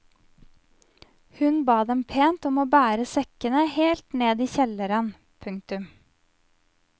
Hun ba dem pent om å bære sekkene helt ned i kjelleren. punktum